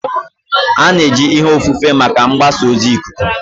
A na-eji ihe ofufe maka mgbasa ozi ikuku.